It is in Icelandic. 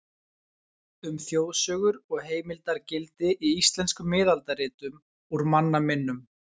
Um þjóðsögur og heimildargildi í íslenskum miðaldaritum, Úr manna minnum.